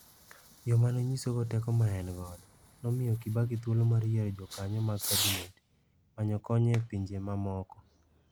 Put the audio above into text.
Yo ma ne onyisogo teko ma ne en go, nomiyo Kibaki thuolo mar yiero jokanyo mag kabinete, manyo kony e pinje mamoko.